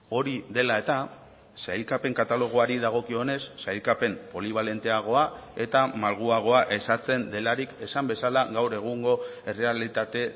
hori dela eta sailkapen katalogoari dagokionez sailkapen polibalenteagoa eta malguagoa ezartzen delarik esan bezala gaur egungo errealitate